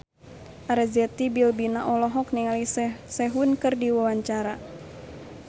Arzetti Bilbina olohok ningali Sehun keur diwawancara